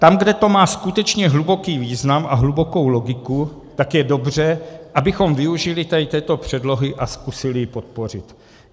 Tam, kde to má skutečně hluboký význam a hlubokou logiku, tak je dobře, abychom využili této předlohy a zkusili ji podpořit.